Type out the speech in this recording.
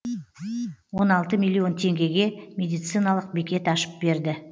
он алты миллион теңгеге медициналық бекет ашып берді